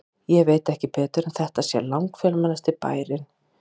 Ég veit ekki betur en þetta sé langfjölmennasti bærinn á landinu.